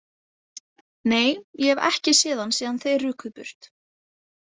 Nei, ég hef ekki séð hann síðan þið rukuð burt.